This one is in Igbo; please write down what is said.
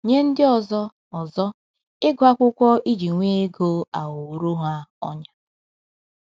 Nye ndị ọzọ, ọzọ, ịgụ akwụkwọ iji nwee ego aghọworo ha ọnyà.